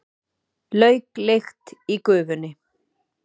Lauklykt í gufunni.